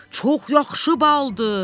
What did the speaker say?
Çox yaxşı baldır.